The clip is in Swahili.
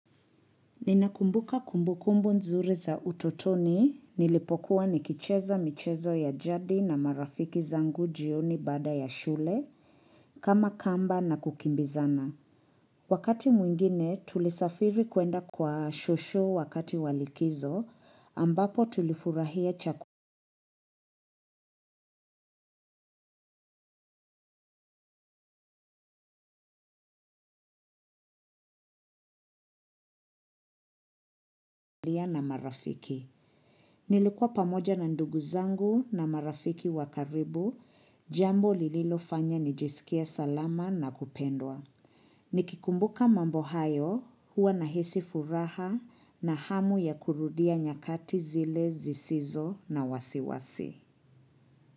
Ninakumbuka kumbukumbu nzuri za utotoni, nilipokuwa nikicheza michezo ya jadi na marafiki zangu jioni bada ya shule, kama kamba na kukimbizana. Wakati mwingine, tulisafiri kuenda kwa shosho wakati wa likizo, ambapo tulifurahia chak na marafiki. Nilikuwa pamoja na ndugu zangu na marafiki wakaribu, jambo lililofanya nijisikie salama na kupendwa. Nikikumbuka mambo hayo huwa nahisi furaha na hamu ya kurudia nyakati zile zisizo na wasiwasi.